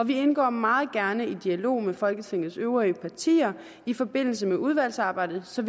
vi indgår meget gerne i dialog med folketingets øvrige partier i forbindelse med udvalgsarbejdet så